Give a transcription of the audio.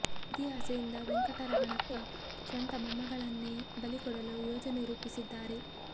ನಿಧಿ ಆಸೆಯಿಂದ ವೆಂಕಟರವಣಪ್ಪ ಸ್ವಂತ ಮೊಮ್ಮಗಳನ್ನೇ ಬಲಿ ಕೊಡಲು ಯೋಜನೆ ರೂಪಿಸಿದ್ದಾರೆ